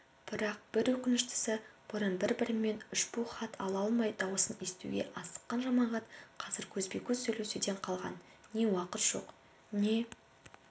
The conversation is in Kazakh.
бірақ бір өкініштісі бұрын бір-бірімен үшбу хат ала алмай даусын естуге асыққан жамағат қазір көзбе-көз сөйлесуден қалған не уақыт жоқ не